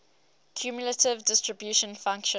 cumulative distribution function